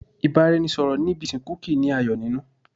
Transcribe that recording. Ìbáraẹnisọ̀rọ̀ ní ibi ìsìnkú kìí ní ayọ̀ nínú.